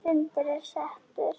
Fundur er settur!